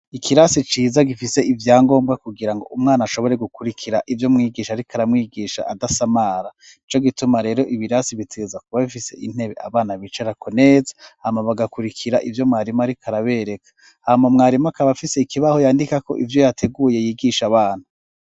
Ikirasi ciza gifise ivyangombwa kugirango umwana ashobore gukurikira ivyo umwigisha ariko aramwigisha adasamara nico gituma rero ibirasi bitegerezwa kuba bifise intebe abana bicarako neza hanyuma bagakurikira ivyo mwarimu ariko arabereka hanyuma mwarimu akaba afise ikibaho yandikako ivyo yateguye yigisha abana.